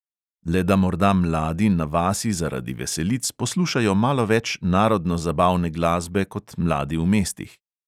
Le da morda mladi na vasi zaradi veselic poslušajo malo več narodno-zabavne glasbe kot mladi v mestih.